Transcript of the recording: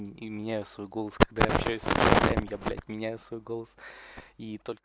и мне свой голос когда общаюсь я блять меня свой голос